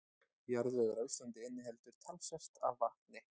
Jarðvegur á Íslandi inniheldur talsvert af vatni.